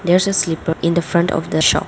there is a slipper in the front of the shop.